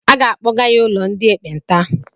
A ga-akpọga ya ụlọ ndị ekpenta.